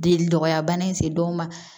Deli dɔgɔya bana in se dɔw ma